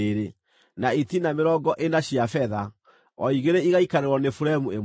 na itina mĩrongo ĩna cia betha, o igĩrĩ igaikarĩrwo nĩ buremu ĩmwe.